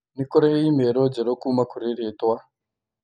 Nĩ kũrĩ i-mīrū njerũ kuuma kũrĩ rĩĩtwa